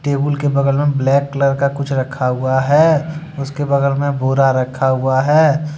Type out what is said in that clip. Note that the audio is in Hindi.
टेबुल के बगल मे ब्लैक कलर का कुछ रखा हुआ है उसके बगल में बोरा रखा हुआ है।